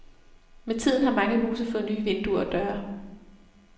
Med tiden har mange huse fået nye vinduer og døre.